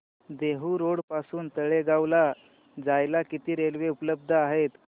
Dehu road पासून तळेगाव ला जायला किती रेल्वे उपलब्ध आहेत